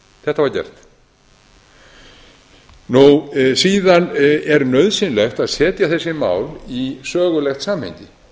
þetta var gert síðan er nauðsynlegt að setja þessi mál í sögulegt samhengi